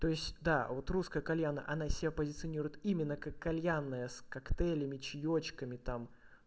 то есть да вот русская кальяная она себя позиционирует именно как кальянная с коктейлями чаёчками там